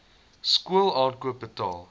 skool aankoop betaal